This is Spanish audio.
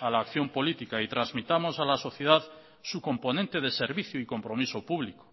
a la acción política y transmitamos a la sociedad su componente de servicio y compromiso público